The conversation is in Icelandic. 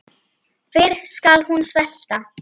Fyrr skal hún svelta.